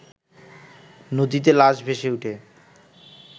নদীতে লাশ ভেসেওঠে